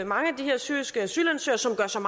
mange af de her syriske asylansøgere som